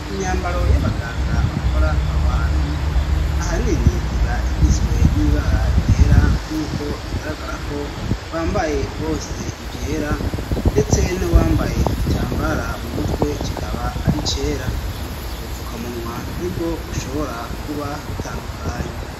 Imyambaro y'abaganga bakora aho hantu ahanini iba igizwe n'ibara ryera nk'uko bigaragara ko bambaye bose ivyera ; ndetse nuwambaye igitambara mu mutwe kikaba ari icera. Ubupfukamunwa nibwo bushobora kuba butandukanye.